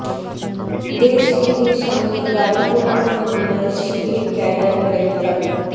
দেশ টিভির সামনে গাড়ি পোড়ানোর মামলায় শিবির ক্যাডার গ্রেপ্তার